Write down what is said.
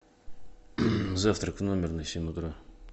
завтрак в номер на семь утра